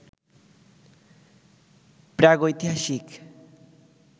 প্রাগৈতিহাসিক